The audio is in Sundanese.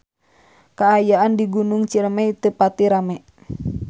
Kaayaan di Gunung Ciremay teu pati rame